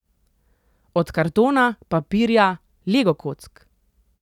Od kartona, papirja, legokock ...